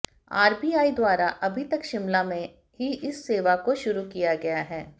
RBI द्वारा अभी तक शिमला में ही इस सेवा को शुरू किया गया है